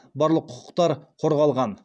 барлық құқықтар қорғалған